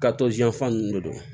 Ka to yan fan nun de don